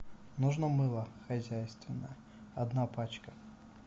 нужно мыло хозяйственное одна пачка